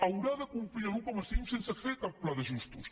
haurà de complir l’un coma cinc sense fer cap pla d’ajustos